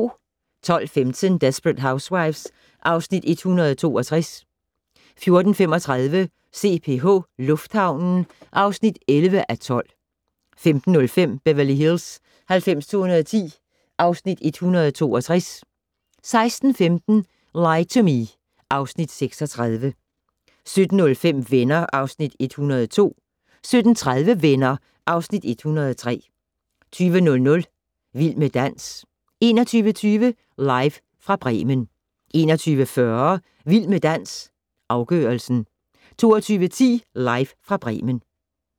12:15: Desperate Housewives (Afs. 162) 14:35: CPH - lufthavnen (11:12) 15:05: Beverly Hills 90210 (Afs. 162) 16:15: Lie to Me (Afs. 36) 17:05: Venner (Afs. 102) 17:30: Venner (Afs. 103) 20:00: Vild med dans 21:20: Live fra Bremen 21:40: Vild med dans - afgørelsen 22:10: Live fra Bremen